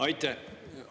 Aitäh!